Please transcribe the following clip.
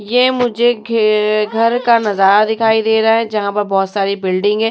ये मुझे घे घर का नजारा दिखाई दे रहा है। जहाँ पर बहोत सारी बिल्डिंग है।